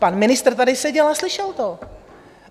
Pan ministr tady seděl a slyšel to.